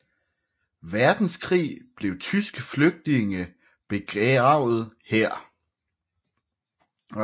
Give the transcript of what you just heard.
Verdenskrig blev tyske flygtninge begravet her